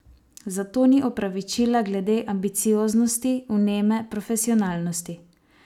Zato ni opravičila glede ambicioznosti, vneme, profesionalnosti.